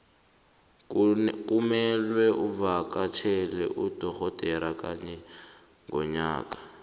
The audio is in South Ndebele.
kumelwe uvakatjhele udogodera kanye ngonyaka